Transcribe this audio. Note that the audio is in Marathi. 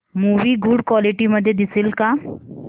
मूवी गुड क्वालिटी मध्ये दिसेल का